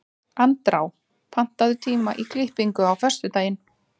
Andrá, pantaðu tíma í klippingu á föstudaginn.